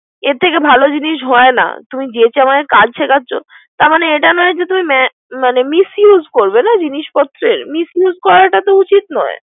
এর থেকে ভালো জিনিস হয় না। তুমি যেছে আমাকে কাজ শিখােচ্ছো। তার মানে এটা নয় যে। তুমি misuse করবে না জিনিস পত্রের না। misuse করাটা উচিত নয়।